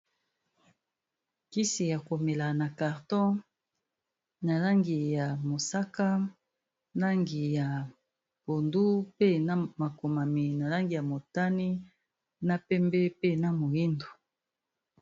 Kisi ya komela na carton na langi ya mosaka, langi ya pondu, pe na makomami na langi ya motani, na pembe pe na moyindo.